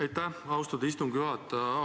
Aitäh, austatud istungi juhataja!